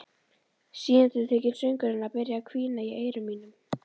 Síendurtekinn söngur hennar byrjar að hvína í eyrum mínum.